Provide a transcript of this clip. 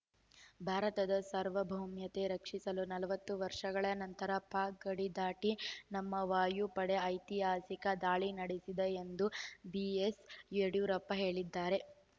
ಭಾರತದ ಸಾರ್ವಭೌಮತೆ ರಕ್ಷಿಸಲು ನಲವತ್ತು ವರ್ಷಗಳ ನಂತರ ಪಾಕ್‌ ಗಡಿ ದಾಟಿ ನಮ್ಮ ವಾಯು ಪಡೆ ಐತಿಹಾಸಿಕ ದಾಳಿ ನಡೆಸಿದೆ ಎಂದು ಬಿಎಸ್‌ ಯಡಿಯೂರಪ್ಪ ಹೇಳಿದರೆ